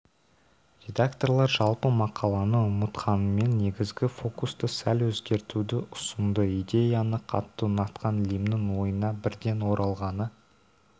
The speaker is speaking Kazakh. редакторлар жалпы мақаланы ұнатқанымен негізгі фокусты сәл өзгертуді ұсынды идеяны қатты ұнатқан лимннің ойына бірден оралғаны